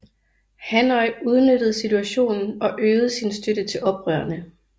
Hanoi udnyttede situationen og øgede sin støtte til oprørerne